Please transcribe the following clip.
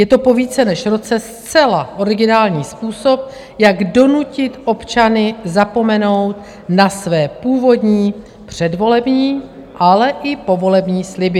Je to po více než roce zcela originální způsob, jak donutit občany zapomenout na své původní předvolební, ale i povolební sliby.